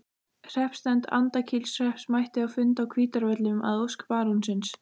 Hreppsnefnd Andakílshrepps mætti á fund á Hvítárvöllum að ósk barónsins.